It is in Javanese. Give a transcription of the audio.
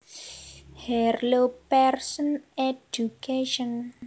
Harlow Pearson Education